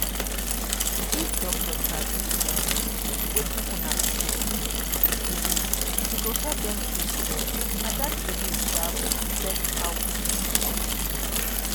if doctor sabi um wetin una people believe believe e go help dem treat well and that belief um go affect how patient go gree